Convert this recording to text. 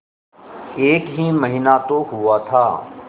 एक ही महीना तो हुआ था